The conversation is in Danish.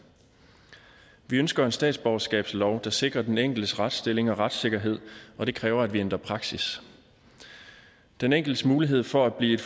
vi ønsker en statsborgerskabslov der sikrer den enkeltes retsstilling og retssikkerhed og det kræver at vi ændrer praksis den enkeltes mulighed for at blive